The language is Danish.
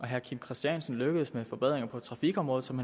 herre kim christiansen lykkedes med forbedringer på trafikområdet som